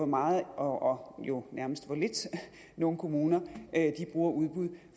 meget og jo nærmest hvor lidt nogle kommuner bruger udbud